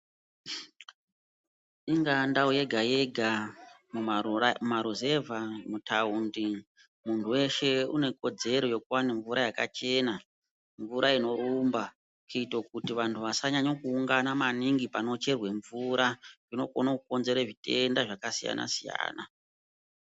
Ingaa ndau yega-yega mumaruzevha mutaundi munhu weshe unekodzero yekuwane mvura yakachena, mvura inorumba. Kuito kuti vantu vasanyanya kuungana maningi panocherwe mvura zvinokone kukonzere zvitenda zvakasiyana-siyana.